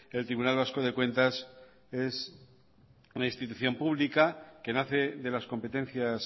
el tribunal vasco de cuentas es una institución pública que nace de las competencias